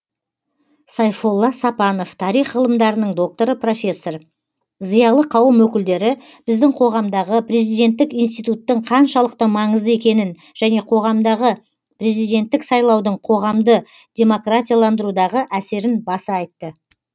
сайфолла сапанов тарих ғылымдарының докторы профессор зиялы қауым өкілдері біздің қоғамдағы президенттік институттың қаншалықты маңызды екенін және қоғамдағы президенттік сайлаудың қоғамды демократияландырудағы әсерін баса айтты